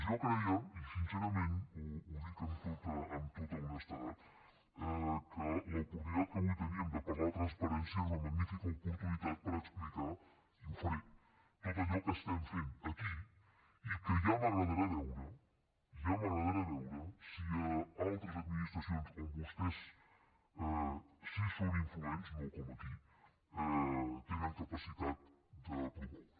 jo creia i sincerament ho dic amb tota honestedat que l’oportunitat que avui teníem de parlar de transparència era una magnífica oportunitat per explicar i ho faré tot allò que estem fent aquí i que ja m’agradarà veure ja m’agradarà veure si a altres administracions on vostès sí que són influents no com aquí tenen capacitat de promoure